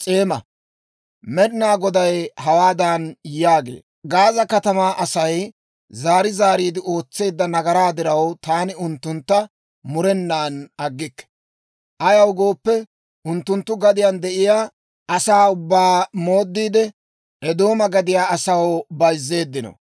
Med'inaa Goday hawaadan yaagee; «Gaaza katamaa Asay zaari zaariide ootseedda nagaraa diraw, taani unttuntta murenan aggikke. Ayaw gooppe, unttunttu gadiyaan de'iyaa asaa ubbaa omoodiide, Eedooma gadiyaa asaw bayzzeeddino.